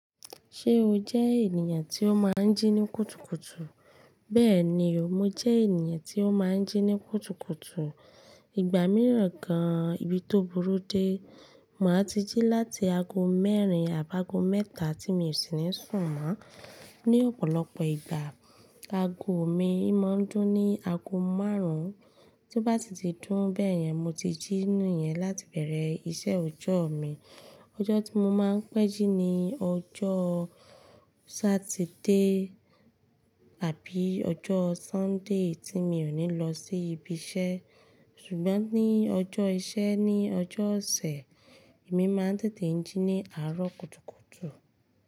Ṣé o jẹ́ ènìyàn tí ó máa ń jí ní kùtùkùtù? Bẹ́ẹ̀ni o, mo jẹ́ ènìyàn tí ó máa ń jí ní kùtùkùtù. Ìgbà mìíràn gan an, ibi tó burú dé, màá ti jí láti ago mẹ́rin àbágo mẹ́ta tí mi ò sì ní sùn mọ́. Ni ọ̀pọ̀lọpọ̀ ìgbà, ago mi imá ń dún ní ago márùn. Bí ó bá ti ti dùn bẹ́ yẹn, mo ti jí ni yẹn láti bẹ̀rẹ̀ iṣẹ́ ọjọ́ mi. Ọjọ́ tí mo máa ń pẹ́ jí ni ọjọ́ Saturday tàbí ọjọ́ Sunday tí mi ò ní lọ sí ibi iṣẹ́. Ṣùgbọ́n ní ọjọ́ iṣẹ́ ní ọjọ́ ọ̀sẹ̀, èmi máa ń tètè jí ní àárọ̀ kùtùkùtù.